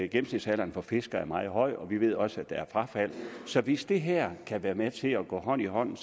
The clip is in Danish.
gennemsnitsalderen for fiskere er meget høj og vi ved også at der er frafald så hvis det her kan være med til at gå hånd i hånd